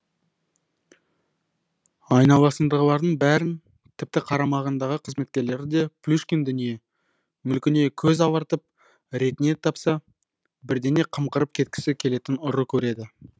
айналасындағылардың бәрін тіпті қарамағындағы қызметкерлерді де плюшкин дүние мүлкіне көз алартып ретіне тапса бірдеңе қымқырып кеткісі келетін ұры көреді